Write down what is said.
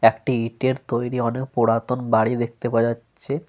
একটি ইঁটের তৈরী অনেক পুরাতন বাড়ি দেখতে পাওয়া যাচ্ছে।